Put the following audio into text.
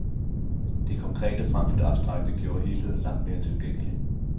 Det konkrete frem for det abstrakte gjorde helheden langt mere tilgængelig.